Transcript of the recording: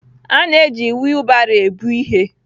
A na-eji wiilbaro ebu ihe.